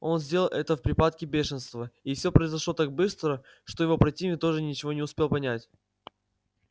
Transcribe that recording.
он сделал это в припадке бешенства и всё произошло так быстро что его противник тоже ничего не успел понять